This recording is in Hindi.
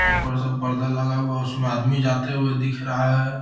उपर सब पर्दा लगा हुआ है उसमें आदमी जाते हुए दिख रहा है।